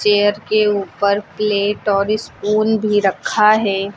Chair के ऊपर plate और स्पून भी रखा है।